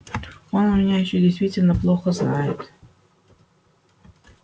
он меня ещё действительно плохо знает